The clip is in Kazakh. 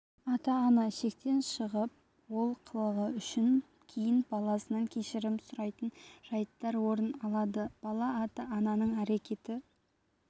ата-ана шектен шығып ол қылығы үшін кейін баласынан кешірім сұрайтын жайттар орын алады бала ата-ананың әрекеті